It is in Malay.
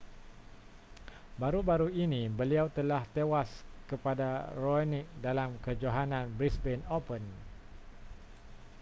baru-baru ini beliau telah tewas kepada raonic dalam kejohanan brisbane open